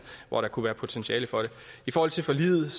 hvor der kunne være potentiale for det i forhold til forliget